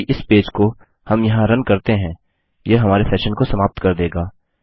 यदि इस पेज को हम यहाँ रन करते हैं यह हमारे सेशन को समाप्त कर देगा